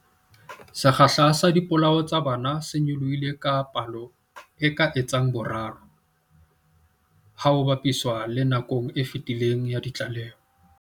Sekgahla sa dipolao tsa bana se nyolohile ka palo e ka etsang boraro ha ho ba piswa le nakong e fetileng ya ditlaleho.